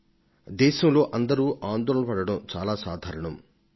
ఎడతెగని వేడిమిని గురించి జాతి ఆందోళన చెందడమనేది ఎంతో సహజమైందే